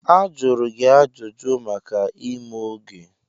Ajụrụ gị ajụjụ maka ime oge.